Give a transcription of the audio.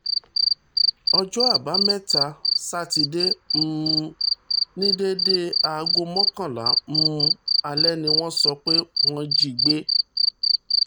ọjọ́ àbámẹ́ta sátidé um ní déédé aago mọ́kànlá um alẹ́ ni wọ́n sọ pé wọ́n jí i gbé